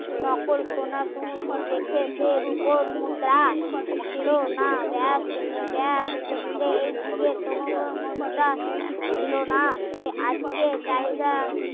নকল সোনা সমুদ্র দেখে এসে রুপোর মুদ্রা ছিল না ব্যাস ব্যাস ক্ষেত্রে এই যুগে কোনোদিন মুদ্রা ছিল না তো আজকে চিহিদা